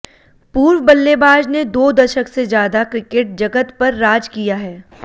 पूर्व बल्लेबाज ने दो दशक से ज्यादा क्रिकेट जगत पर राज किया है